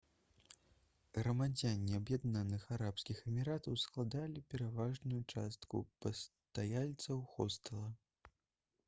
грамадзяне аб'яднаных арабскіх эміратаў складалі пераважную частку пастаяльцаў хостэла